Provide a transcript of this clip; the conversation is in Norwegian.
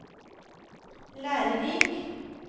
lærerik